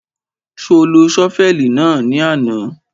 Ṣo lo ṣọ́fẹ̀lì náà ní àná?